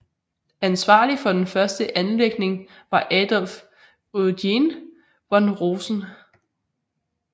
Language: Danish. Ansvarlig for den første anlægning var Adolf Eugène von Rosen